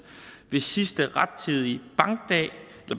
hvis sidste rettidige